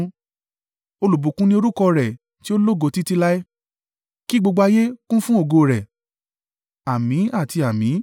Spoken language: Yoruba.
Olùbùkún ni orúkọ rẹ̀ tí ó lógo títí láé; kí gbogbo ayé kún fún ògo rẹ̀.